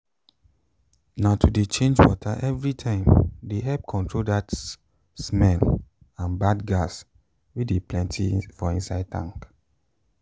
na to de change water everytime de help control that smell and bad gas wey de plenty for inside tank